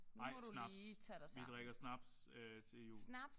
Nej snaps. Vi drikker snaps til jul